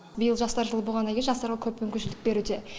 биыл жастар жылы болғаннан кейін жастарға көп мүмкіншілік беруде